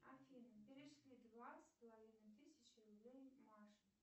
афина перешли два с половиной тысячи рублей маше